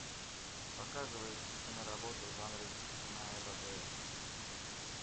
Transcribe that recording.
показывай киноработу в жанре киноэпопея